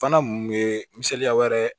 Fana mun ye misaliya wɛrɛ ye